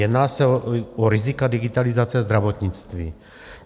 Jedná se o rizika digitalizace zdravotnictví.